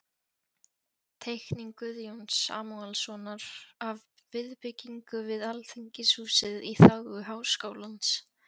Teikning Guðjóns Samúelssonar af viðbyggingu við Alþingishúsið í þágu Háskólans.